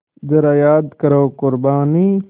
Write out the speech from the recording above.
ज़रा याद करो क़ुरबानी